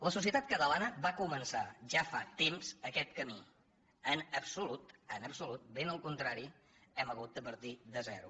la societat catalana va començar ja fa temps aquest camí en absolut en absolut ben al contrari hem ha·gut de partir de zero